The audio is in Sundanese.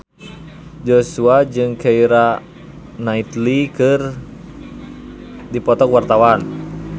Joshua jeung Keira Knightley keur dipoto ku wartawan